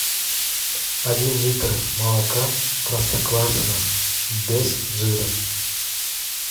один литр молока простоквашино без жира